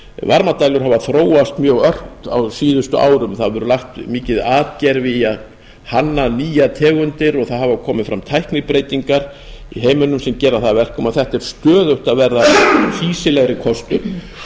varmadælur hafa þróast mjög ört á síðustu árum það hefur verið lagt mikið atgervi í að hanna nýjar tegundir og það hafa komið fram tæknibreytingar í heiminum sem gera það að verkum að þetta er stöðugt að verða fýsilegri